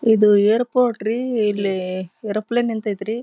ಇದು ಏರ್ಪೋರ್ಟ್ ರೀ ಇಲ್ಲಿ ಏರೋಪ್ಲೇನ್ ನಿಂತೈತ್ರಿ.